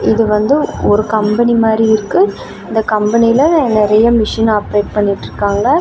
இது வந்து ஒரு கம்பெனி மாதிரி இருக்கு இந்த கம்பெனில நறைய மிஷின் ஆப்ரேட் பண்ணிட்டுருக்காங்க.